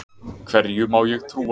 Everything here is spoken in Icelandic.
Hverju má ég trúa?